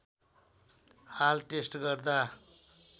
हाल टेस्ट गर्दा